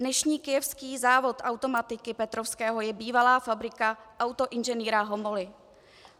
Dnešní kyjevský závod automatiky Petrovského je bývalá fabrika autoinženýra Homoly.